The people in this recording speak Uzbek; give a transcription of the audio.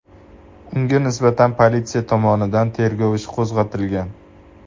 Unga nisbatan politsiya tomonidan tergov ishi qo‘zg‘atilgan.